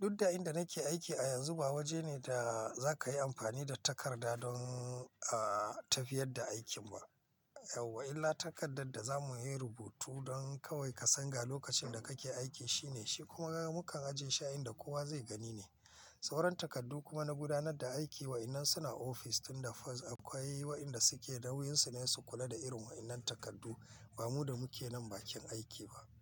duk da inda nake aiki a yanzu ba waje ne da za ka yi amfani da takarda don, ah, tafiyar da aikin ba. Auwa, illa takardar da za mu yi rubutu don kawai ka san ga lokacin da kake aiki shine shi kuma mukan aje shi a inda kowa zai gani ne. Sauran takardu kuma na gudanar da aiki wa'inan suna ofis tunda fas akwai wa inda suke nauyin su ne su kula da irin wa'inan takardu. Ba mu da muke nan bakin aiki ba.